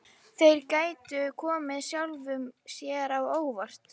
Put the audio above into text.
Þeir gætu komið sjálfum sér á óvart.